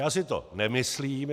Já si to nemyslím.